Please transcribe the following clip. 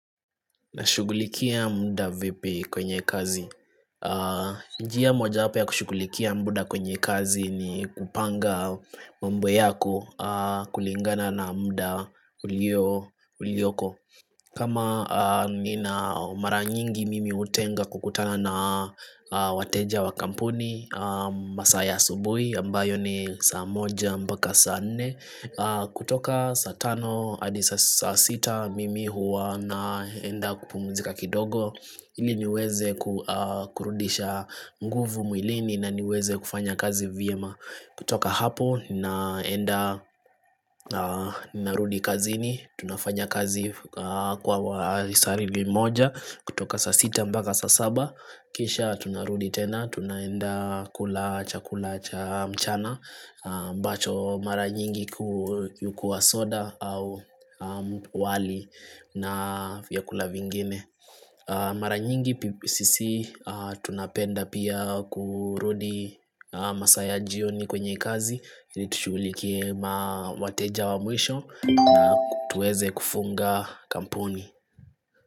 Na shugulikia mbuda vipi kwenye kazi Njiya moja hapa ya kushugulikia mbuda kwenye kazi ni kupanga mbue yako kulingana na mbuda uliyoko kama ni na mara nyingi mimi utenga kukutana na wateja wa kampuni masaya subui ambayo ni saa moja mbaka saa ne kutoka satano adisa sita mimi huwa naenda kupumuzika kidogo Ili niweze kurundisha mguvu mwilini na niweze kufanya kazi vm kutoka hapo naenda narudi kazi ni Tunafanya kazi kwa wali sarili moja kutoka sasita mbaka sasaba Kisha tunarudi tena Tunaenda kula cha kula cha mchana mbacho mara nyingi kuyukua soda au wali na vyakula vingine Mara nyingi pipsisi tunapenda pia kurudi masaya jioni kwenye kazi Tuchulikie mawateja wa mwisho na kutueze kufunga kampuni.